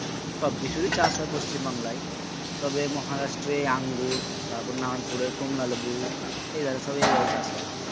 সবকিছুই চাষ হয় পশ্চিম বাঙালায় তবে মহারাষ্ট্রে আঙ্গুর তারপর নারায়ণপুরের কমলালেবু এই এই সব চাষ হয়